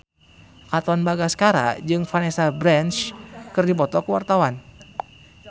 Katon Bagaskara jeung Vanessa Branch keur dipoto ku wartawan